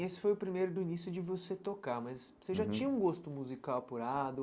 Esse foi o primeiro do início de você tocar, mas você já tinha um gosto musical apurado.